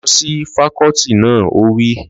Lọ sí fakọ́ọ́tì náà! Ó wí